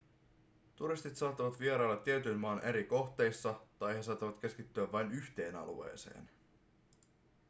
turistit saattavat vierailla tietyn maan eri kohteissa tai he saattavat keskittyä vain yhteen alueeseen